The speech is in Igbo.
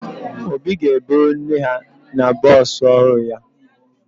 Obi ga-eburu nne ya na bọọsụ ọhụrụ ya